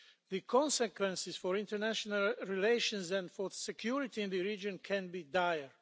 The consequences for international relations and for security in the region could be dire.